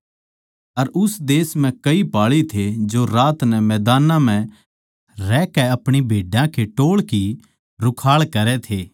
अर उस देश म्ह कई पाळी थे जो रात नै मदानां म्ह रहकै अपणी भेड्डां के टोळ की रुखाळ करै थे